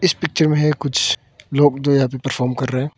इस पिक्चर में है कुछ लोग तो यहां पे परफॉर्म कर रहे हैं।